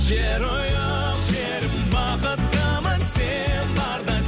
жерұйық жерім бақыттымын сен барда